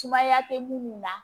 Sumaya tɛ mun na